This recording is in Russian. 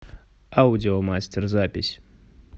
аудиомастер запись